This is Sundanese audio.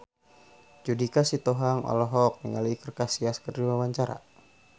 Judika Sitohang olohok ningali Iker Casillas keur diwawancara